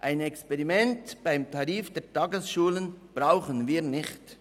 Ein Experiment beim Tarif der Tagesschulen brauchen wir nicht.